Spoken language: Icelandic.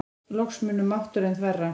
Loks mun mátturinn þverra.